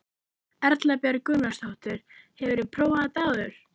Erla Björg Gunnarsdóttir: Hefurðu prófað þetta áður?